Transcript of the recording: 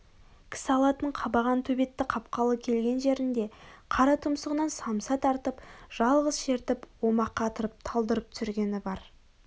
кісі алатын қабаған төбетті қапқалы келген жерінде қара түмсығынан самса тартып жалғыз шертіп омақа атырып талдырып түсіргені бар